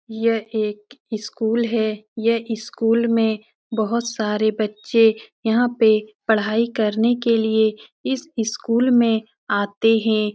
यह एक स्कूल है। यह स्कूल में बहोत सारे बच्चे यहाँ पे पढाई करने के लिये इस स्कूल में आते हैं।